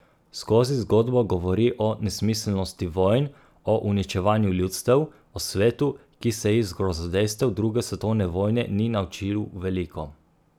Skozi zgodbo govori o nesmiselnosti vojn, o uničevanju ljudstev, o svetu, ki se iz grozodejstev druge svetovne vojne ni naučil veliko.